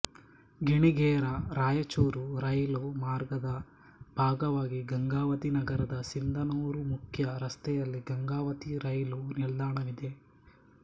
Ginigera Raichur rail ಮಾರ್ಗದ ಬಾಗವಾಗಿ ಗಂಗಾವತಿ ನಗರದ ಸಿಂದನೂರು ಮುಕ್ಯ ರಸ್ತೆಯಲ್ಲಿ ಗಂಗಾವತಿ ರಯ್ಲು ನಿಲ್ದಾಣವಿದೆ